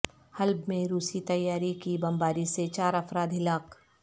حلب میں روسی طیارے کی بمباری سے چار افراد ہلاک